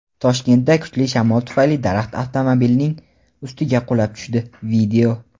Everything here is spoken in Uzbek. Toshkentda kuchli shamol tufayli daraxt avtomobilnining ustiga qulab tushdi.